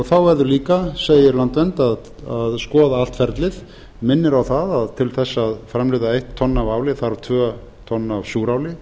þá verður líka segir landvernd að skoða allt ferlið minnir á að til þess að framleiða eitt tonn af áli þarf tvö tonn af súráli